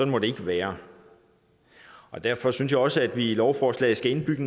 må det ikke være derfor synes jeg også at vi i lovforslaget skal indbygge